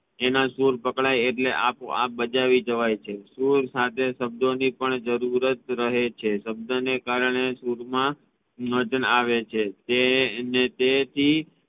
એના સુર પકડાઈ એટલે આપો આપ બજાવી જાવૈ છે સુર સાથે શબ્દો ની પણ જરૂરત રહે છે શબ્દને કારણે સુર મા આવે છે તે તે થી